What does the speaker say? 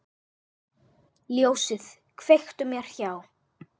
Ljósið kveiktu mér hjá.